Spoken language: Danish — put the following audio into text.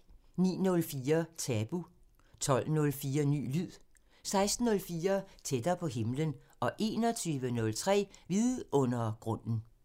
09:04: Tabu 12:04: Ny lyd 16:04: Tættere på himlen 21:03: Vidundergrunden